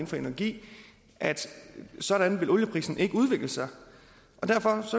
for energi at sådan vil olieprisen ikke udvikle sig derfor